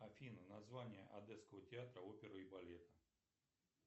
афина название одесского театра оперы и балета